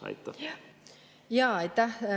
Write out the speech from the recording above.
Aitäh!